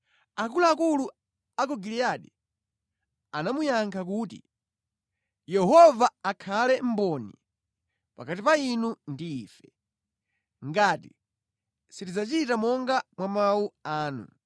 Akuluakulu a ku Giliyadi anamuyankha kuti, “Yehova akhale mboni pakati pa inu ndi ife, ngati sitidzachita monga mwa mawu anu.”